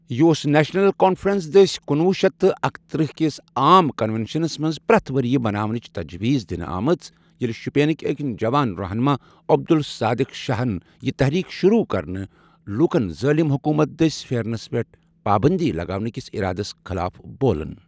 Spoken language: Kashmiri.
یہِ اوس نیشنَل کانفرٛنٕس دٔسۍ کُنوُہ شیٚتھ تہٕ اکترٛہ کس عام کنوینشنس منٛز پرٛتھ ؤرۍیہٕ مناونٕچ تَجویٖز دِنہٕ آمٔژ ییٚلہِ شُپینٕکۍ أکۍ جوان رَہنُما عبدالصادِق شاہن یہِ تٔحریٖک شروٗع کرنہٕ لوٗکن ظٲلِم حکومت دٔسۍ پھؠرنَس پؠٹھ پابندی لَگاونٕکِس ارادس خٕلاف بولُن.